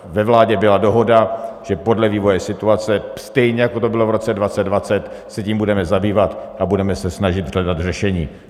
Ve vládě byla dohoda, že podle vývoje situace, stejně jako to bylo v roce 2020, se tím budeme zabývat a budeme se snažit hledat řešení.